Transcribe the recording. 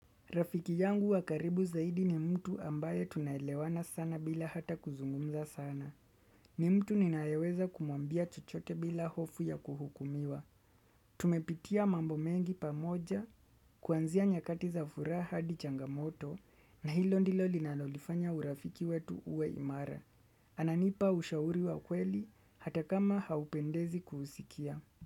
Rafiki yangu wa karibu zaidi ni mtu ambaye tunaelewana sana bila hata kuzungumza sana. Ni mtu ninaeweza kumwambia chochote bila hofu ya kuhukumiwa. Tumepitia mambo mengi pamoja, kuanzia nyakati za furaha hadi changamoto, na hilo ndilo linalolifanya urafiki wetu uwe imara. Ananipa ushauri wa kweli, hata kama haupendezi kuusikia.